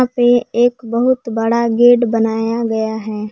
ये एक बहुत बड़ा गेट बनाया गया है।